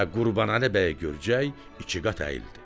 Və Qurbanəli Bəyi görcək iki qat əyildi.